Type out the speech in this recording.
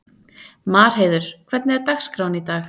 Marheiður, hvernig er dagskráin í dag?